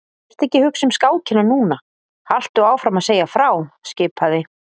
Vertu ekki að hugsa um skákina núna, haltu áfram að segja frá skipaði